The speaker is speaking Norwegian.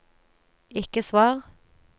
ikke svar